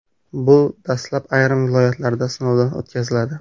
Bu dastlab ayrim viloyatlarda sinovdan o‘tkaziladi.